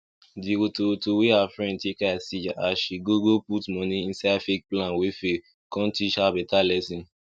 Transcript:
di wotowoto wey her friend take eye see as she go go put moni inside fake plan wey fail con teach her better lesson